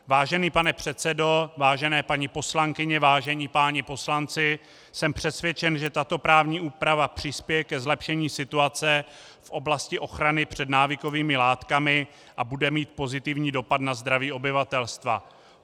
Vážený pane předsedo, vážené paní poslankyně, vážení páni poslanci, jsem přesvědčen, že tato právní úprava přispěje ke zlepšení situace v oblasti ochrany před návykovými látkami a bude mít pozitivní dopad na zdraví obyvatelstva.